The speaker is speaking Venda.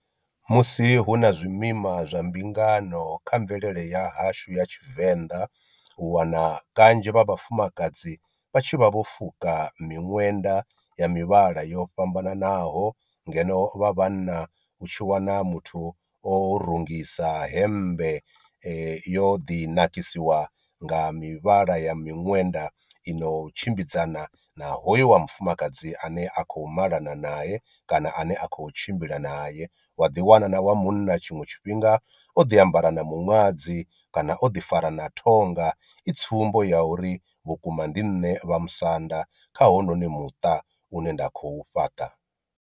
Musi hu na zwimima zwa mbingano kha mvelele ya hashu ya tshivenḓa, u wana kanzhi vha vhafumakadzi vha tshi vha vho fuka miṅwenda ya mivhala yo fhambananaho ngeno vha vhanna u tshi wana muthu o rungisa hemmbe yo ḓi nakisiwa nga mivhala ya miṅwenda i no tshimbidzana na hoyu wa mufumakadzi ane a kho malana nae kana ane a khou tshimbila nae. Wa ḓi wana na wa munna tshiṅwe tshifhinga o ḓi ambara na miṅwadzi kana o ḓi fara na ṱhonga i tsumbo ya uri vhukuma ndi nṋe vha musanda kha hounoni muṱa une nda khou fhaṱa.